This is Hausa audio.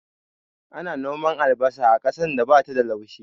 Ana noman albasa a ƙasan da bata da laushi